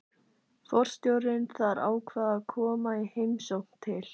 Forstjórinn þar ákvað að koma í heimsókn til